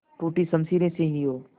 टूटी शमशीरें से ही हो